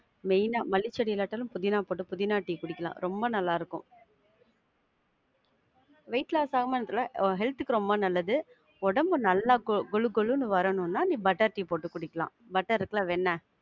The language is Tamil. main ஆ மல்லி செடி இல்லாட்டாலும், புதினா டீ குடிக்கலாம். ரொம்ப நல்லா இருக்கும். weight loss ஆகுமான்னு தெரில. health க்கு ரொம்ப நல்லது. ஒடம்பு நல்லா கொழு கொழுன்னு வரணும்னா, நீ butter tea போட்டு குடிக்கலாம். butter இருக்குல வெண்ண.